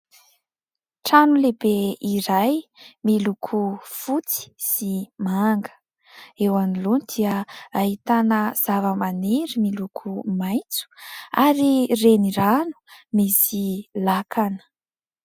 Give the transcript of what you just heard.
Trano lehibe iray miloko fotsy sy manga. Eo anoloany dia ahitana zavamaniry miloko maitso ary renirano misy lakana.